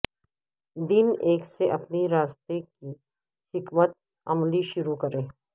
دن ایک سے اپنی راستہ کی حکمت عملی شروع کریں